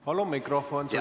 Palun mikrofon!